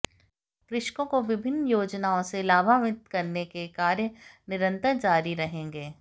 कृषकों को विभिन्न योजनाओं से लाभान्वित करने के कार्य निरंतर जारी रहेंगे